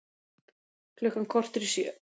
Klukkan korter í sjö